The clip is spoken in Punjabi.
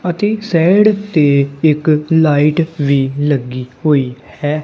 ਅਤੇ ਸਾਈਡ ਤੇ ਇੱਕ ਲਾਈਟ ਵੀ ਲੱਗੀ ਹੋਈ ਹੈ।